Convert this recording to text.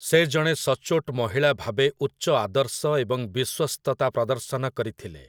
ସେ ଜଣେ ସଚ୍ଚୋଟ ମହିଳା ଭାବେ ଉଚ୍ଚ ଆଦର୍ଶ ଏବଂ ବିଶ୍ୱସ୍ତତା ପ୍ରଦର୍ଶନ କରିଥିଲେ ।